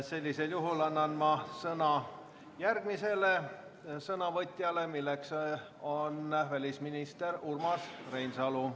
Sellisel juhul annan sõna järgmisele sõnavõtjale, kelleks on välisminister Urmas Reinsalu.